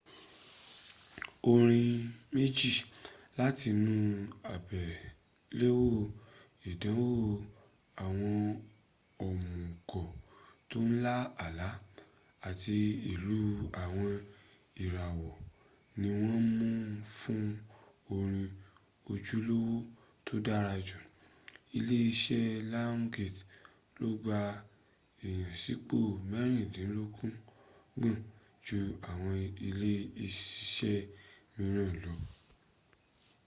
orin méjì látinú àgbéléwò ìdánwò àwọn òmùgọ̀ tó ń lá àlá àti ìlú àwọn ìràwọ̀ ni wọ́n mún fún orin ojúlówó tó dára jù. ilé ìsiṣẹ́ lionsgate ló gba ìyànsípò mẹ́rìndínlọ́gbọ̀n — jú àwọn ilé ìsiṣẹ̀ mìíràn lọ